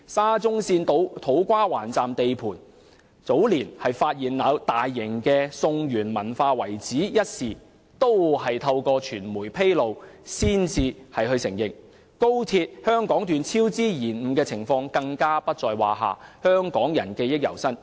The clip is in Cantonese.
沙中線土瓜灣站地盤早年發現大型的宋元文化遺址一事，亦是由傳媒率先披露。高鐵香港段工程超支延誤的情況更不在話下，香港人記憶猶新。